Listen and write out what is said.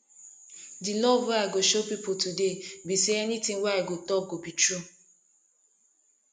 di love wey i go show people today be say anything wey i go talk go be true